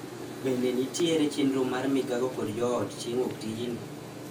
Bende nitiere chenro mar migago kod joot chieng' wuoktijni.